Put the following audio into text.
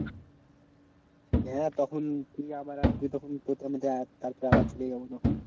হ্যাঁ তখন তুই আবার আসবি তখন তারপরে আবার চলে যাবো না হয়।